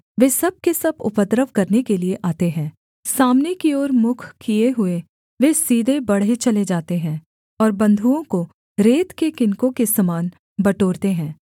वे सब के सब उपद्रव करने के लिये आते हैं सामने की ओर मुख किए हुए वे सीधे बढ़े चले जाते हैं और बंधुओं को रेत के किनकों के समान बटोरते हैं